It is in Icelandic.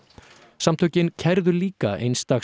samtökin kærðu líka eins dags